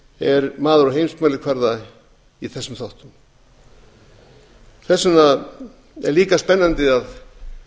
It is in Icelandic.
er maður á heimsmælikvarða í þessum þáttum þess vegna er líka spennandi að